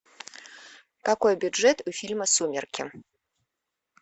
какой бюджет у фильма сумерки